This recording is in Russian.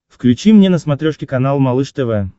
включи мне на смотрешке канал малыш тв